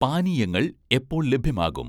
പാനീയങ്ങൾ എപ്പോൾ ലഭ്യമാകും?